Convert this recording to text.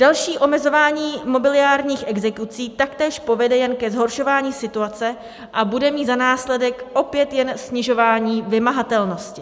Další omezování mobiliárních exekucí taktéž povede jen ke zhoršování situace a bude mít za následek opět jen snižování vymahatelnosti.